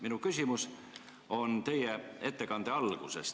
Minu küsimus on teie ettekande alguse koha.